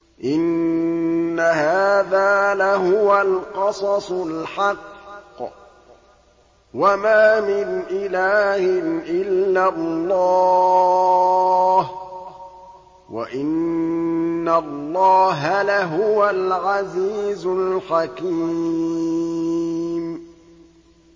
إِنَّ هَٰذَا لَهُوَ الْقَصَصُ الْحَقُّ ۚ وَمَا مِنْ إِلَٰهٍ إِلَّا اللَّهُ ۚ وَإِنَّ اللَّهَ لَهُوَ الْعَزِيزُ الْحَكِيمُ